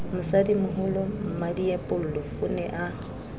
mosadimoholo mmadiepollo o ne a